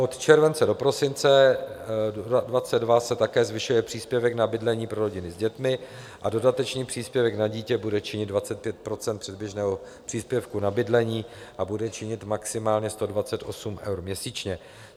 Od července do prosince 2022 se také zvyšuje příspěvek na bydlení pro rodiny s dětmi a dodatečný příspěvek na dítě bude činit 25 % předběžného příspěvku na bydlení a bude činit maximálně 128 eur měsíčně.